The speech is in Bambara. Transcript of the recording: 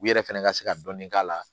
U yɛrɛ fɛnɛ ka se ka dɔnni k'a la